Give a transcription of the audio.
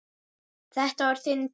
Þetta var þinn tími.